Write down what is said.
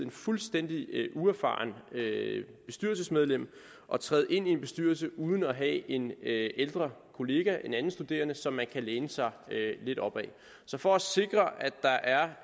et fuldstændig uerfarent bestyrelsesmedlem at træde ind i en bestyrelse uden at have en ældre kollega en anden studerende som man kan læne sig lidt op ad så for at sikre at der er